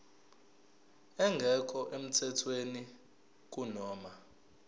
engekho emthethweni kunoma